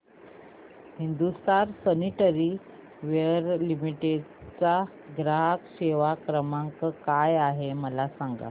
Hindustan sanitaryware limited चा ग्राहक सेवा क्रमांक काय आहे मला सांगा